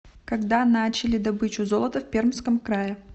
когда начали добычу золота в пермском крае